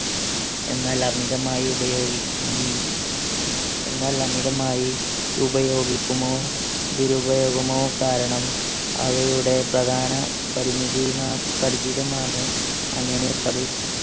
എന്നാൽ അമിതമായി ഉപയോഗിക്കു എന്നാല്ലമിതമായി ഉപയോഗിക്കുമോ ദുരുപയോഗമോ കാരണം അവയുടെ പ്രധാന പരിമിതി അങ്ങനെ